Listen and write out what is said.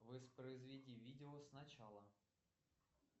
воспроизведи видео сначала